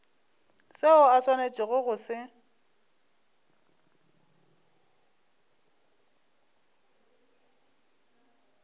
seo o swanetšego go se